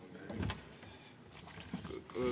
Palun kolm minutit!